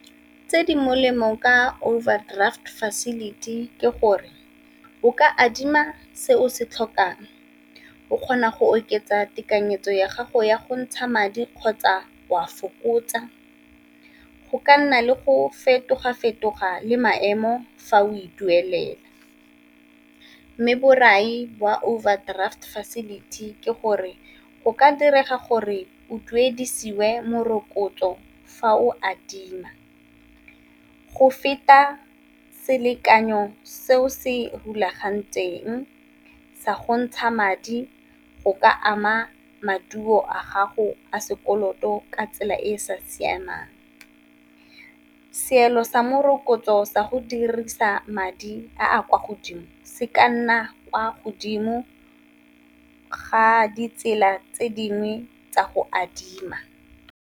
Tse di molemo ka overdraft facility ke gore o ka adima se o se tlhokang, o kgona go oketsa tekanyetso ya gago ya go ntsha madi kgotsa o a fokotsa, go ka nna le go fetoga-fetoga le maemo fa o e duelela. Mme borai jwa overdraft facility ke gore o ka direga gore o duedisiwe morokotso fa o adima, go feta selekanyo seo se rulagantsweng sa gontsha madi go ka ama maduo a gago a sekoloto ka tsela e e sa siamang, seelo sa morokotso sa go dirisa madi a a kwa godimo se ka nna kwa godimo ga ditsela tse dingwe tsa go adima.